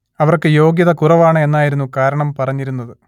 അവർക്ക് യോഗ്യത കുറവാണ് എന്നായിരുന്നു കാരണം പറഞ്ഞിരുന്നത്